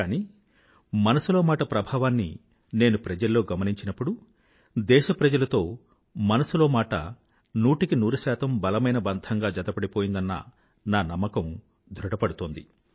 కానీ మనసులో మాట ప్రభావాన్ని నేను ప్రజల్లో గమనించినప్పుడు దేశప్రజలతో మనసులో మాట నూటికి నూరు శాతం బలమైన బంధంగా జతపడిపోయిందన్న నా నమ్మకం ధృఢపడుతుంది